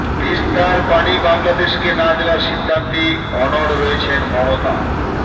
তিস্তার পানি বাংলাদেশকে না দেওয়ার সিদ্ধান্তে অনড় রয়েছেন মমতা